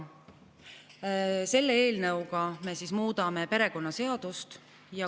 Selle eelnõuga me muudame perekonnaseadust.